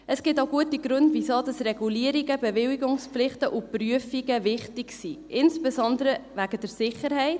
Es gibt auch gute Gründe, weshalb Regulierungen, Bewilligungspflichten und Prüfungen wichtig sind: insbesondere wegen der Sicherheit.